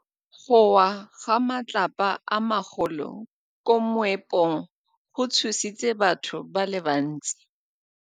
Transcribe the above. Go wa ga matlapa a magolo ko moepong go tshositse batho ba le bantsi.